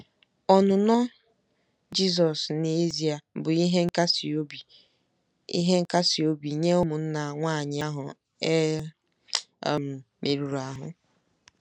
Ọnụnọ Jisọs n’ezie bụ ihe nkasi bụ ihe nkasi obi nye ụmụnna nwanyị ahụ e um merụrụ ahụ́.